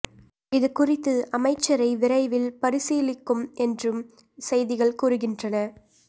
இது குறித்து அமைச்சரை விரைவில் பரிசீலிக்கும் என்றும் செய்திகள் கூறுகின்றன